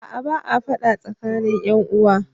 Ba a fada tsakanin ƴan uwa.